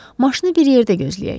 Maşını bir yerdə gözləyək.